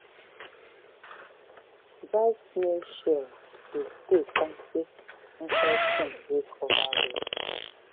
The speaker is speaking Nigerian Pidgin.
dry snail shell dey stay kampe inside tin wey cover well.